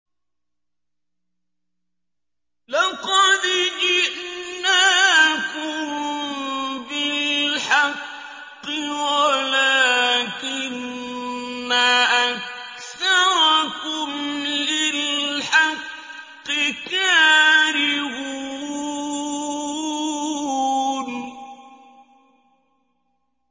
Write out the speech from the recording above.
لَقَدْ جِئْنَاكُم بِالْحَقِّ وَلَٰكِنَّ أَكْثَرَكُمْ لِلْحَقِّ كَارِهُونَ